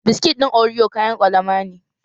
Biskit ɗin oriyo kayan ƙwalama ne